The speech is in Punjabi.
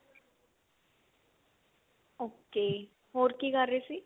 okay ਹੋਰ ਕੀ ਕਰ ਰਹੇ ਸੀ